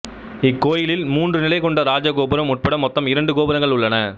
இக்கோயிலில் மூன்று நிலை கொண்ட ராஜகோபுரம் உட்பட மொத்தம் இரண்டு கோபுரங்கள் உள்ளன